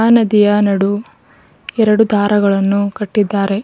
ಆ ನದಿಯ ನಡು ಎರಡು ದಾರಗಳನ್ನು ಕಟ್ಟಿದ್ದಾರೆ.